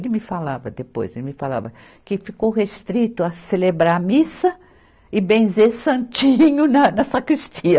Ele me falava depois, ele me falava que ficou restrito a celebrar a missa e benzer santinho na na sacristia.